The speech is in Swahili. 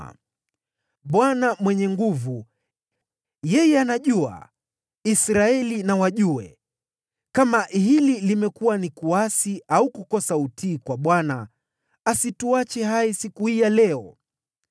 “Yeye Mwenye Nguvu, Mungu, Bwana ! Yeye Mwenye Nguvu, Mungu, Bwana ! Yeye anajua! Israeli na wajue! Kama huu umekuwa ni uasi au kukosa utii kwa Bwana , msituache hai siku hii ya leo.